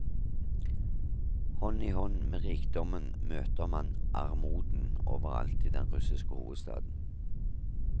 Hånd i hånd med rikdommen møter man armoden overalt i den russiske hovedstaden.